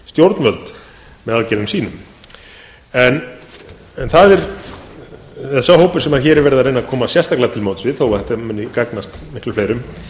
stjórnvöld með sínum sá hópur sem hér er verið að reyna að koma sérstaklega til móts við þótt þetta muni gagnast fleirum